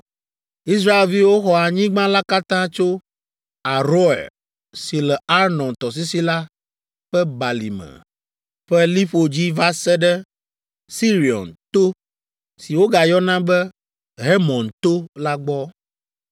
Israelviwo xɔ anyigba la katã tso Aroer si le Arnon tɔsisi la ƒe balime ƒe liƒo dzi va se ɖe Sirion to (si wogayɔna be Hermon to) la gbɔ